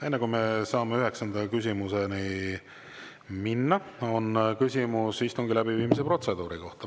Enne, kui me saame üheksanda küsimuse juurde minna, on küsimus istungi läbiviimise protseduuri kohta.